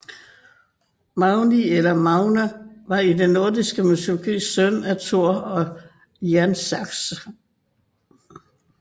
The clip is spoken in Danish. Magni eller Magne var i den nordiske mytologi søn af Thor og Jernsaxa